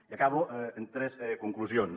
i acabo amb tres conclusions